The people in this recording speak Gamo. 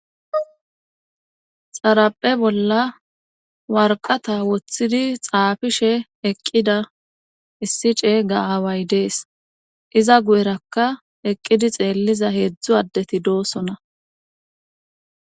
Xaraphe bolla warqata woththidi xaafishe eqqida issi cey ga aaway dees iza gu7erakka eqqidi xeelliza heedzdzu addeti doosona.